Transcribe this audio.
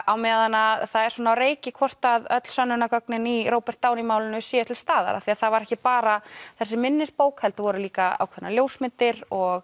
á meðan það er svona á reiki hvort öll sönnunargögnin í Robert Downey málinu séu til staðar af því það var ekki bara þessi minnisbók heldur voru líka ákveðnar ljósmyndir og